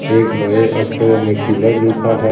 एक बड़े अक्षरों में किलर लिखा है ।